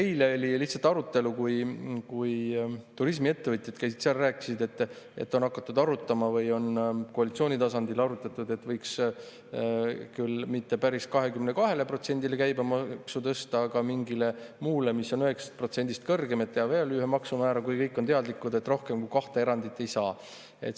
Eile oli arutelu, kus käisid turismiettevõtjad ja rääkisid, et koalitsiooni tasandil on arutatud, et võiks kui mitte päris 22%‑le käibemaksu tõsta, siis mingile muule, mis on 9%‑st kõrgem, et teha veel üks maksumäär, kuigi kõik on teadlikud, et rohkem kui kahte erandit teha ei saa.